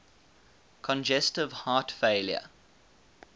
congestive heart failure